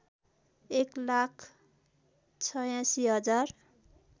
एक लाख ८६ हजार